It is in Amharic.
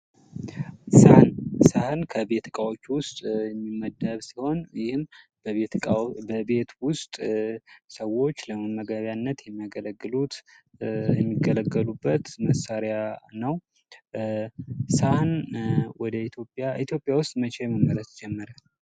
ሰሀን:- ሰሀን ከቤት እቃዎች ዉስጥ የሚመደብ ሲሆን ይሄም በቤት ዉስጥ ሰዎች ለመመግቢያነት የሚገለገሉበት መሳሪያ ነዉ። ሰሀን ኢትዮጵያ ዉስጥ መቼ መመረት ጀመረ?